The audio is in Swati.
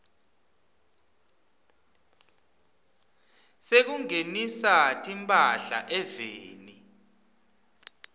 sekungenisa timphahla eveni